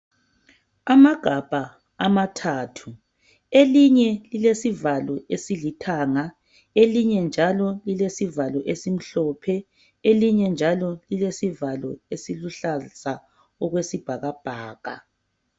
Amagabha amathathu elinye lilesivalo esilithanga elinye njalo lilesivalo esimhlophe, elinye njalo lilesivalo esiluhlaza okwesibhakabhaka.